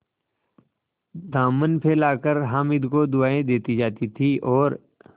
दामन फैलाकर हामिद को दुआएँ देती जाती थी और